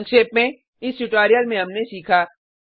संक्षेप में इस ट्यूटोरियल में हमने सीखा